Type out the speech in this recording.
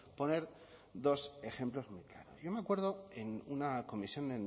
poner dos ejemplos muy claros yo me acuerdo en una comisión